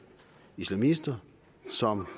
islamister som